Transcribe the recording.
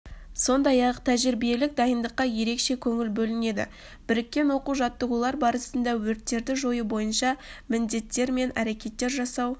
сондай-ақ тәжірибелік дайындыққа ерекше көңіл бөлінеді біріккен оқу-жаттығулар барысында өрттерді жою бойынша міндеттер мен әрекеттер жасау